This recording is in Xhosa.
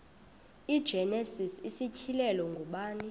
igenesis isityhilelo ngubani